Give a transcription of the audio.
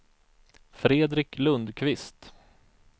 Fredrik Lundquist